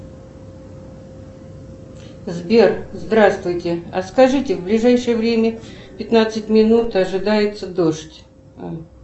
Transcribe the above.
сбер здравствуйте а скажите в ближайшее время пятнадцать минут ожидается дождь